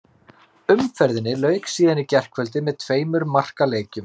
Umferðinni lauk síðan í gærkvöldi með tveimur markaleikjum.